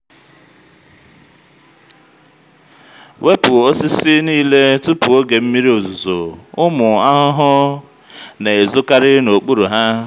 wepu osisi niile tupu oge mmiri ozuzo ụmụ ahụhụ na-ezokarị n'okpuru ha.